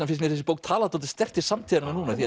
finnst mér þessi bók tala dálítið sterkt til samtíðarinnar núna því